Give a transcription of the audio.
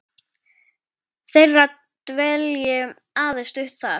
þeirra dvelji aðeins stutt þar.